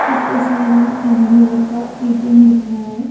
इस तस्वीर में एस_बी_आई का एटीएम दिख रहा है।